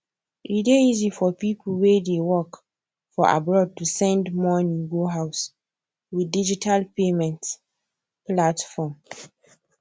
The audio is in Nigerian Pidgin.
e dey easy for people wey dey work for abroad to send money go house with digital payment platform